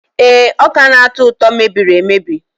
Ee, ọka na-atọ ụtọ mebiri emebi.